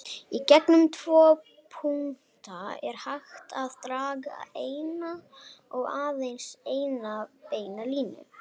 Í gegnum tvo punkta er hægt að draga eina og aðeins eina beina línu.